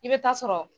I bɛ taa sɔrɔ